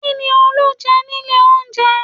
Kí ni Olú jẹ nílé oúnjẹ?